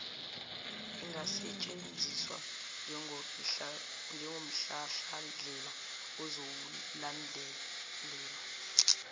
ingasetshenziswa njengomhlahlandlela ozowulandela